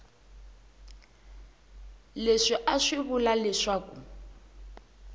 leswi a swi vula leswaku